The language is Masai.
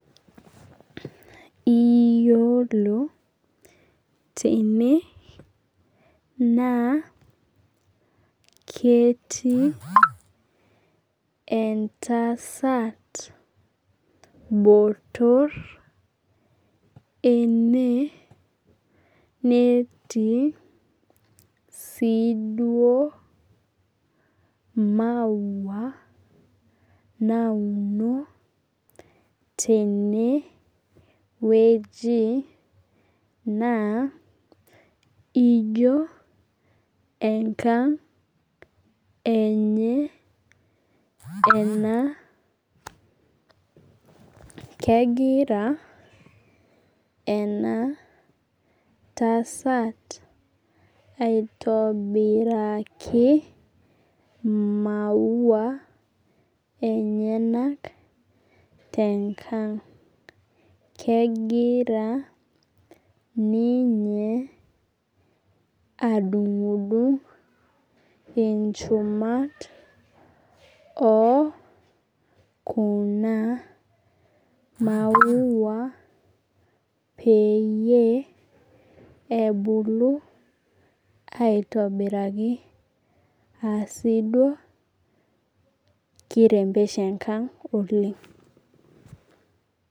Iyiolo tene naa ketii entasat motor ene netii si duo maua nauno tenewueji, naa ijo enkang enye ena. Kegira enatasat aitobiraki maua enyanak tenkang. Kegira ninye adung'dung inchumat okuna maua peyie ebulu aitobiraki asiduo ki rembesha enkang oleng.